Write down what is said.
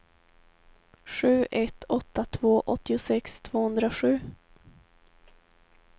sju ett åtta två åttiosex tvåhundrasju